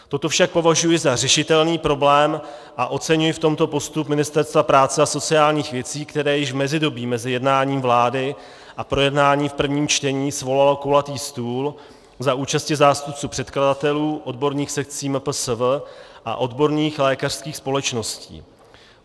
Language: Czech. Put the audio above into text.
Toto však považuji za řešitelný problém a oceňuji v tomto postup Ministerstva práce a sociálních věcí, které již v mezidobí mezi jednáním vlády a projednání v prvním čtení svolalo kulatý stůl za účasti zástupců předkladatelů, odborných sekcí MPSV a odborných lékařských společností.